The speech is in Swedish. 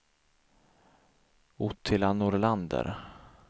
Ottilia Nordlander